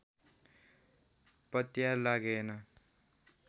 पत्यार लागेन